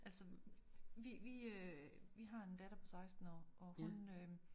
Altså vi vi øh vi har en datter på 16 år og hun øh